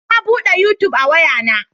Na bude yutub a waya na